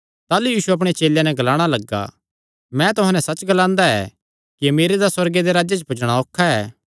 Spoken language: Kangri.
ताह़लू यीशु अपणे चेलेयां नैं ग्लाणा लग्गा मैं तुहां नैं सच्च ग्लांदा ऐ कि अमीरे दा सुअर्गे दे राज्जे च पुज्जणा औखा ऐ